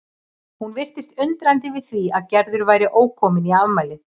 Hún virtist undrandi yfir því að Gerður væri ókomin í afmælið.